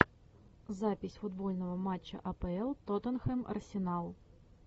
запись футбольного матча апл тоттенхэм арсенал